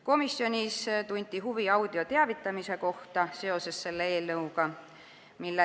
Komisjonis tunti huvi audioteavitamise kohta seoses selle eelnõuga.